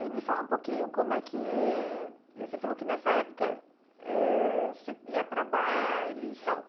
E me fala um pouquinho, como é que... Você falou que nessa época eh você ia para bailes e tal.